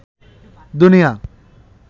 দুনিয়া